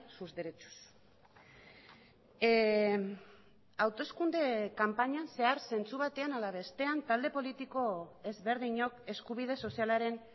sus derechos hauteskunde kanpainan zehar zentzu batean ala bestean talde politiko ezberdinok eskubide sozialaren